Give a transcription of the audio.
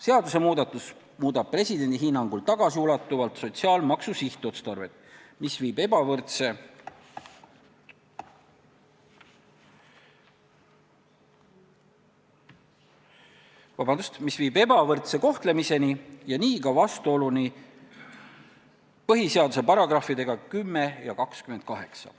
Seadusemuudatus muudab presidendi hinnangul tagasiulatuvalt sotsiaalmaksu sihtotstarvet, mis viib ebavõrdse kohtlemiseni ja nii ka vastuoluni põhiseaduse §-dega 10 ja 28.